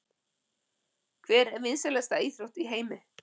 Hver er vinsælasta íþrótt í heimi?